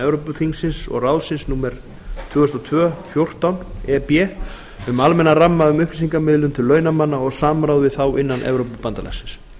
evrópuþingsins og evrópuráðsins númer tvö þúsund og tveir fjórtán e b um almennan ramma um upplýsingamiðlun til launamanna og samráð við þá innan evrópubandalagsins